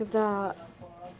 да